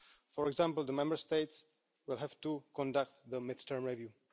For example, the Member States will have to conduct a mid-term review.